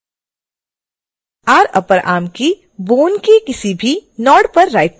rupperarm की bone के किसी भी node पर राइट क्लिक करें